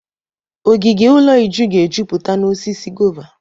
Ogige ụlọ Uju ga-ejupụta n'osisi gova.